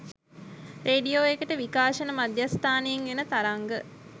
radio එකට විකාශන මධ්‍යස්ථානයෙන් එන තරංග